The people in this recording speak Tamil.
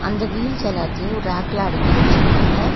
அந்த வீல்ஸ் எல்லாத்தையு ரேக்ல அடுக்கி வெச்சிருக்காங்க.